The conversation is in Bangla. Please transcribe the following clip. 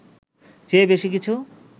চেয়ে বেশি কিছু